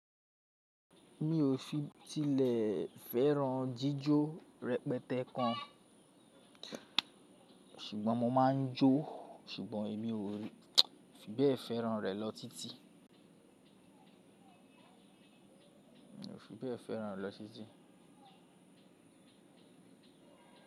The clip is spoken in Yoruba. Mi ò fi tilẹ̀ fẹ́ràn jíjó rẹpẹtẹ kan, ṣùgbọ́n mo máa ń jó, ṣùgbọ́n èmi ò fi bẹ́ẹ̀ fẹ́ràn rẹ̀ lọ títí. Mi ò fi bw fẹ́ràn ẹ̀ lọ títí.